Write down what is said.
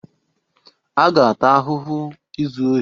A ga-ata ahụhụ izu ohi.